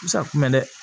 Misakun bɛ dɛ